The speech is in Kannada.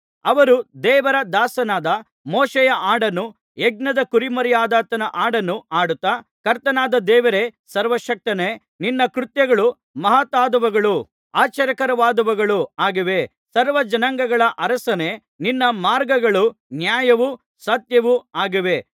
ಅವರು ದೇವರ ದಾಸನಾದ ಮೋಶೆಯ ಹಾಡನ್ನೂ ಯಜ್ಞದ ಕುರಿಮರಿಯಾದಾತನ ಹಾಡನ್ನೂ ಹಾಡುತ್ತಾ ಕರ್ತನಾದ ದೇವರೇ ಸರ್ವಶಕ್ತನೇ ನಿನ್ನ ಕೃತ್ಯಗಳು ಮಹತ್ತಾದವುಗಳೂ ಆಶ್ಚರ್ಯಕರವಾದವುಗಳೂ ಆಗಿವೆ ಸರ್ವಜನಾಂಗಗಳ ಅರಸನೇ ನಿನ್ನ ಮಾರ್ಗಗಳು ನ್ಯಾಯವೂ ಸತ್ಯವೂ ಆಗಿವೆ